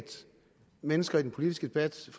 mennesker i den politiske debat så